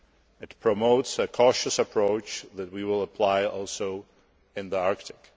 It promotes a cautious approach that we will also apply in the Arctic.